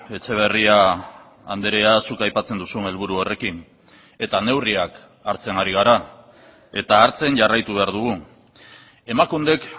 etxeberria andrea zuk aipatzen duzun helburu horrekin eta neurriak hartzen ari gara eta hartzen jarraitu behar dugu emakundek